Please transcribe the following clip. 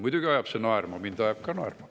Muidugi ajab see naerma, mind ajab ka naerma.